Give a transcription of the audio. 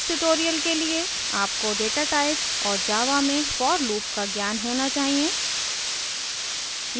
इस tutorial के लिए आपको data types और java में for loop का ज्ञान होना चाहिए